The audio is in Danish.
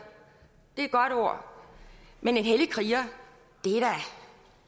et godt ord men hellig kriger